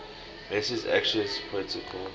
message access protocol